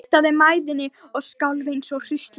Ég kastaði mæðinni og skalf eins og hrísla.